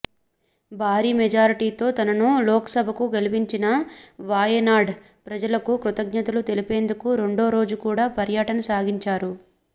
భారీ మెజార్టీతో తనను లోక్సభకు గెలిపించిన వాయనాడ్ ప్రజలకు కృతజ్ఞతలు తెలిపేందుకు రెండోరోజు కూడా పర్యటన సాగించారు